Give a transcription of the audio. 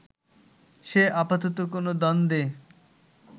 সে আপাতত কোনো দ্বন্দ্বে